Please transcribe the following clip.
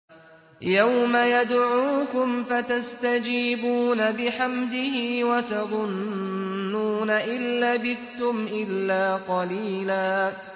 يَوْمَ يَدْعُوكُمْ فَتَسْتَجِيبُونَ بِحَمْدِهِ وَتَظُنُّونَ إِن لَّبِثْتُمْ إِلَّا قَلِيلًا